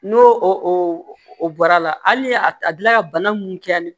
N'o o bɔra la hali ni a dilan ka bana mun kɛli